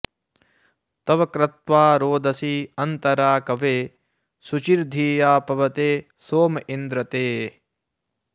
तव॒ क्रत्वा॒ रोद॑सी अन्त॒रा क॑वे॒ शुचि॑र्धि॒या प॑वते॒ सोम॑ इन्द्र ते